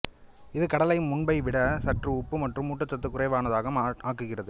இது கடலை முன்பை விட சற்று உப்பு மற்றும் ஊட்டச்சத்து குறைவானதாக ஆக்குகிறது